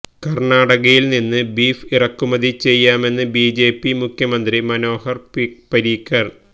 കർണാടകയിൽ നിന്നും ബീഫ് ഇറക്കുമതി ചെയ്യാമെന്ന് ബിജെപി മുഖ്യമന്ത്രി മനോഹർ പരീക്കർ